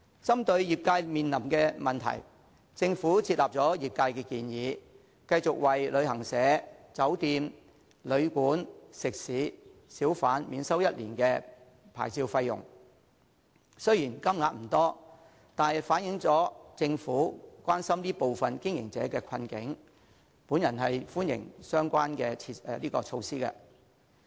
針對業界面臨的問題，政府接納了業界的建議，繼續為旅行社、酒店、旅館、食肆及小販免收1年的牌照費用，雖然金額不多，但反映政府關心這部分經營者的困境，我歡迎相關的措施。